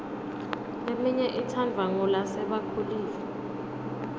leminye itsandvwa ngulasebakhulile